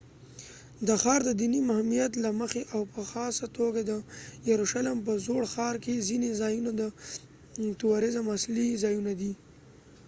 د ښار ددېنی مهمیت له مخی او په خاصه توګه د یروشلم په زوړ ښار کې ځینی ځایونه د تورزم اصلی ځایونه دي